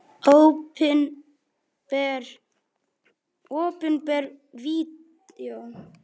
Líður manni betur við það?